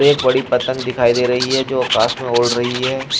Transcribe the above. एक बड़ी पतंग दिखाई दे रही है जो आकाश में उड़ रही है।